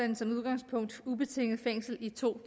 den som udgangspunkt ubetinget fængsel i to